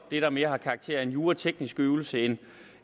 det der mere har karakter af en jurateknisk øvelse end